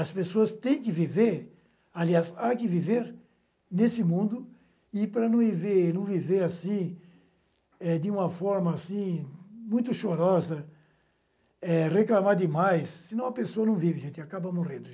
As pessoas têm que viver, aliás, há que viver nesse mundo, e para não viver, não viver eh de uma forma assim muito chorosa, eh, reclamar demais, senão a pessoa não vive, gente, acaba morrendo.